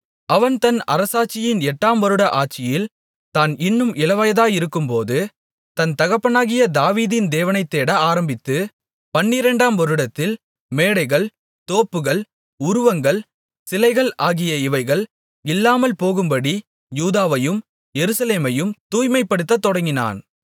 அவன் தன் அரசாட்சியின் எட்டாம் வருட ஆட்சியில் தான் இன்னும் இளவயதாயிருக்கும்போது தன் தகப்பனாகிய தாவீதின் தேவனைத் தேட ஆரம்பித்து பன்னிரண்டாம் வருடத்தில் மேடைகள் தோப்புகள் உருவங்கள் சிலைகள் ஆகிய இவைகள் இல்லாமல்போகும்படி யூதாவையும் எருசலேமையும் தூய்மைப்படுத்தத் தொடங்கினான்